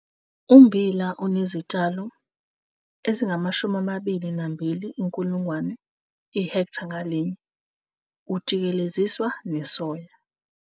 Photo 4- Ummbila onezitshalo ezi-22 000 ihektha ngalinye ujikeleziswa nesoya.